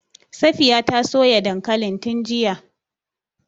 Safiya ta soya dankalin tun jiya.